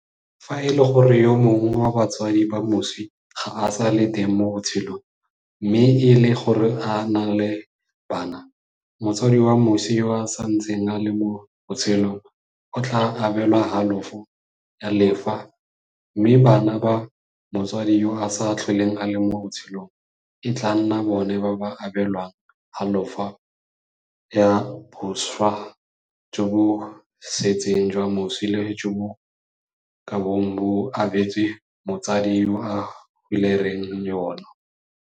Fa e le gore yo mongwe wa batsadi ba moswi ga a sa le teng mo botshelong mme e le gore o na le bana, motsadi wa moswi yo a santseng a le mo botshelong o tla abelwa halofo ya lefa mme bana ba motsadi yo a sa tlholeng a le mo botshelong e tla nna bona ba ba abelwang halofo ya boswa jo bo setseng jwa moswi le jo bo kabong bo abetswe motsadi yo a hulereng yono.